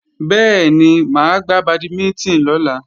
Bẹ́ẹ̀ni, máa gbá bàdímínítìn lọ́la